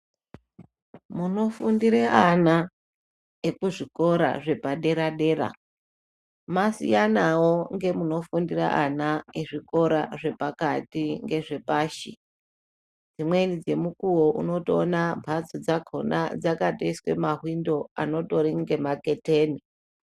Munofundire ana ekuzvikora zvepadera dera masiyanawo ngemunofundire zvikora zvepakati ngezvepashi, dzimweni dzemukuwo unotoona bhazi dzakona dzakatoiswe mahwindo angorori ngemaketeni.